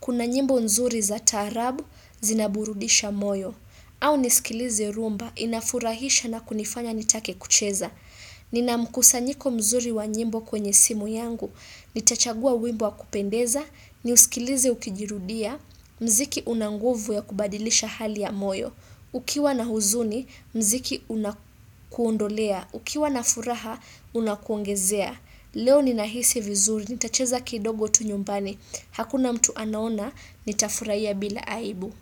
Kuna nyimbo nzuri za taarab zinaburudisha moyo. Au nisikilize rhumba inafurahisha na kunifanya nitake kucheza. Nina mkusanyiko mzuri wa nyimbo kwenye simu yangu, nitachagua wimbo wa kupendeza, niuskilize ukijirudia, mziki unanguvu ya kubadilisha hali ya moyo, ukiwa na huzuni, mziki unakuondolea, ukiwa na furaha, unakuongezea. Leo ninahisi vizuri, nitacheza kidogo tu nyumbani, hakuna mtu anaona, nitafurahia bila aibu.